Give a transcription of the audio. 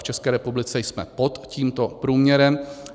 V České republice jsme pod tímto průměrem.